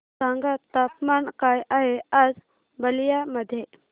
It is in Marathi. सांगा तापमान काय आहे आज बलिया मध्ये